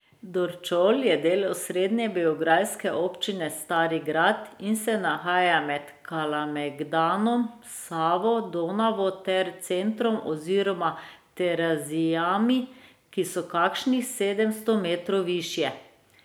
Dorćol je del osrednje beograjske občine Stari Grad in se nahaja med Kalamegdanom, Savo, Donavo ter centrom oziroma Terazijami, ki so kakšnih sedemsto metrov višje.